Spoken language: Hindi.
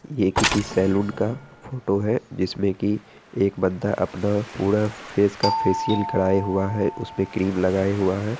ये किसी सैलून का फोटो है जिसमे की एक बंदा अपना पूरा फ़ेस का फ़ेश्यल कराए हुआ है उसपे क्रीम लगाए हुआ है।